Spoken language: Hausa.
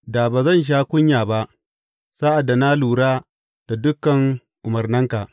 Da ba zan sha kunya ba sa’ad da na lura da dukan umarnanka.